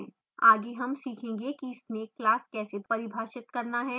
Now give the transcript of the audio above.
आगे हम सीखेंगे कि snake class कैसे परिभाषित करना है